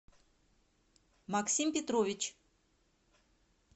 максим петрович